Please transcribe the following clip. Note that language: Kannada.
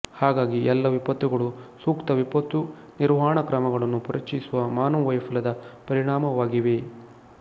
ಹಾಗಾಗಿ ಎಲ್ಲ ವಿಪತ್ತುಗಳು ಸೂಕ್ತ ವಿಪತ್ತು ನಿರ್ವಹಣಾ ಕ್ರಮಗಳನ್ನು ಪರಿಚಯಿಸುವ ಮಾನವ ವೈಫಲ್ಯದ ಪರಿಣಾಮವಾಗಿವೆ